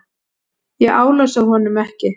Ég álasa honum ekki.